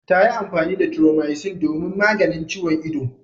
Ta yi amfani da Thromycin domin maganin ciwon ido.